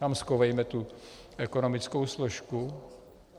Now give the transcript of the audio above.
Tam schovejme tu ekonomickou složku.